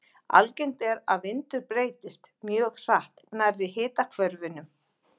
Algengt er að vindur breytist mjög hratt nærri hitahvörfunum.